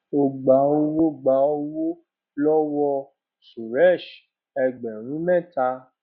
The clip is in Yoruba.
ó gba owó gba owó lọwọ suresh ẹgbẹrún mẹta